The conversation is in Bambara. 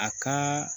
A ka